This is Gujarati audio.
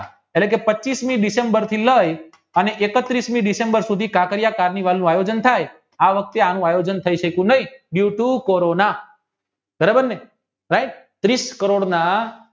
એટલે કે પચીશમી ડિસેમ્બરથી લાય અને એકત્રીષ્મી ડિસેમ્બર કાંકરિયા વાવનું આયોજન થઈ આ વખતે એનું આયોજન થઈ શક્યું નહિ તે ગાતું કોરોના બરોબરને right ત્રિસ્કરોના